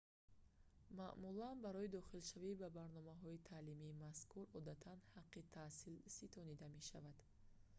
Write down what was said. маъмулан барои дохилшавӣ ба барномаҳои таълимии мазкур одатан ҳаққи таҳсил ситонида мешавад